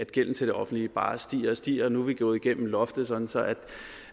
gælden til det offentlige bare stiger og stiger nu er vi gået igennem loftet sådan